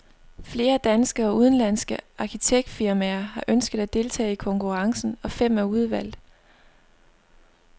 Flere danske og udenlandske arkitektfirmaer har ønsket at deltage i konkurrencen, og fem er udvalgt.